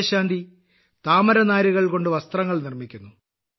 വിജയശാന്തി താമരനാരുകൾ കൊണ്ട് വസ്ത്രങ്ങൾ നിർമ്മിക്കുന്നു